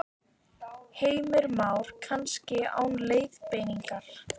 Heimir Már: Kannski án leiðbeiningar?